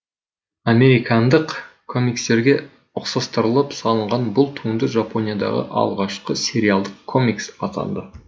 американдық комикстерге ұқсастырылып салынған бұл туынды жапониядағы алғашқы сериалдық комикс атанды